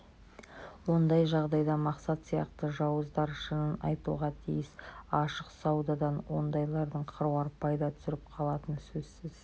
ондай жағдайда мақсат сияқты жауыздар шынын айтуға тиіс ашық саудадан ондайлардың қыруар пайда түсіріп қалатыны сөзсіз